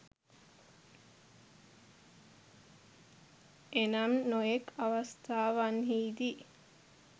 එනම් නොයෙක් අවස්ථාවන්හිදී